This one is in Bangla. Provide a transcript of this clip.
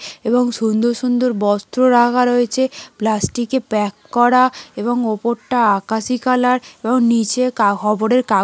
এবং সুন্দর সুন্দর বস্ত্র রাখা রয়েছে । প্লাস্টিক - এ প্যাক করা এবং উপরটা আকাশি কালার এবং নীচে কা খবরের কা--